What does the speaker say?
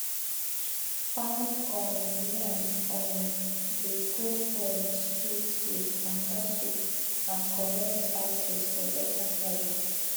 pound um yam um dey go um sweet with banga soup and correct spices for delta side